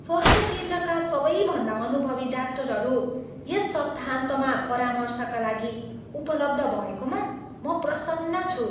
स्वास्थ्य केन्द्रका सबैभन्दा अनुभवी डाक्टरहरू यस सप्ताहन्तमा परामर्शका लागि उपलब्ध भएकोमा म प्रसन्न छु।